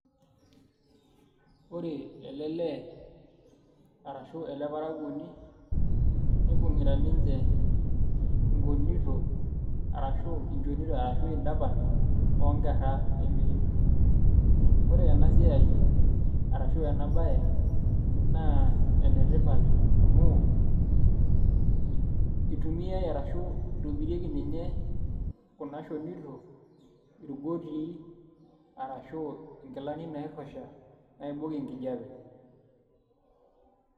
Ore ele lee arashu ele parakuoni nibung'ita ninche inkonito arashu inchonito arashu indapan ookerra e merino ore ena siai arashu enabaye naa enetipat amu itumiai arashu itobirieki ninye kuna shonito irbutii arashu nkilani nairrusha naibok enkijiape.